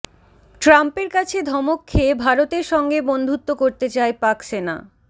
ট্রাম্পের কাছে ধমক খেয়ে ভারতের সঙ্গে বন্ধুত্ব করতে চায় পাক সেনা